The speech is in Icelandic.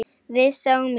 Við sáum lík.